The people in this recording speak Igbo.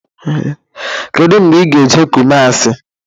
Kedụ mgba ị ga-eje Kumuasi?